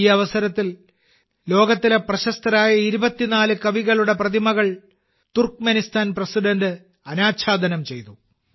ഈ അവസരത്തിൽ ലോകത്തിലെ പ്രശസ്തരായ 24 കവികളുടെ പ്രതിമകൾ തുർക്ക്മെനിസ്ഥാൻ പ്രസിഡന്റ് അനാച്ഛാദനം ചെയ്തു